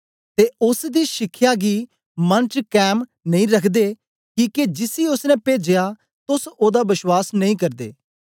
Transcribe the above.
ते ओसदे शिखया गी मन च कैम नेई रखदे किके जिसी ओसने पेजया तोस ओदा बश्वास नेई करदे